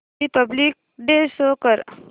Republic day show कर